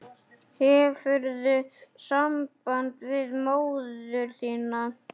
Hefurðu samband við móður þína?